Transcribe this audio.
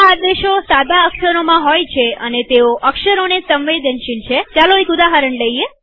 આદેશો સાદા અક્ષરોકેપિટલ નહીંમાં હોય અને તેઓ અક્ષર પ્રકારસાદા કે કેપિટલને સંવેદનશીલ છેચાલો એક ઉદાહરણ જોઈએ